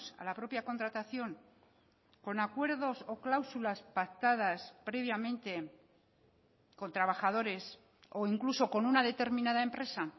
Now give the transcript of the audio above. a la propia contratación con acuerdos o cláusulas pactadas previamente con trabajadores o incluso con una determinada empresa